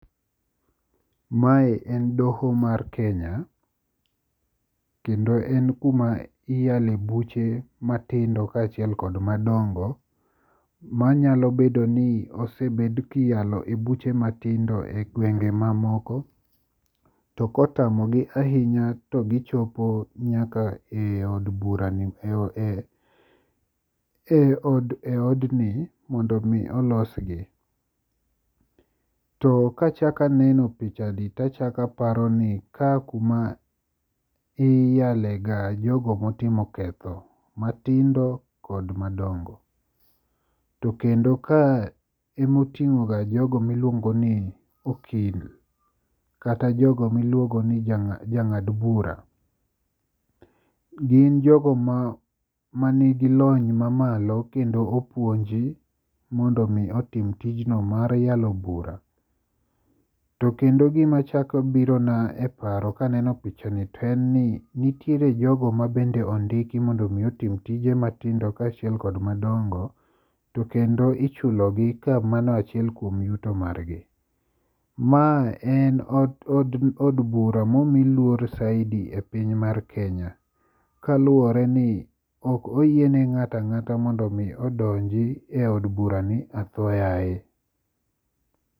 Mae en doho mar Kenya, kendo en kuma iyale buche matindo kaachiel kod madongo manyalo bedo ni osebed kiyalo e buche matindo egwenge mamoko to kotamo gi ahinya to gichopo nyaka eodni mondo mi olosgi. To ka achako anen picha ni to achako aparo ni kae kuma iyalega jogo motimo ketho matindo kod madongo to kendo kae ema oting'o ga jogo miluong ni okil kata jang'ad bura. Gin jogo man gi lony mamalo kendo opuonji mondo mi tim tijno mar yalo bura. To kendo gima chako birona e paro kaneno pichani en ni nitiere jogo mabende ondiki mabende ondiki mondo mi otim tije matindo kaachiel kod madongo to kendo ichulogi ni ka mano achiel kuon yuto margi. Ma en od od bura momi luor saidi epiny mar Kenya kaluwore ni ok oyie ni ng'ato ang'ata mondo mi odonj eiod burani atho yaye.